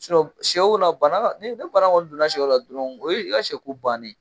sɛw la bana ni bana kɔni donna sɛw la dɔrɔn o ye i ka sɛko bannen .